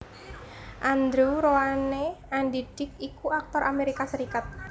Andrew Roane Andy Dick iku aktor Amerika Serikat